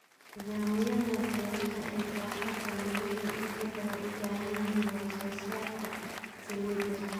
Nidaamyada beeraha ee baaxadda leh waxay inta badan u baahan yihiin wax-soo-saarka saliidda.